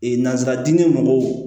Ee nanzara diinɛ mɔgɔw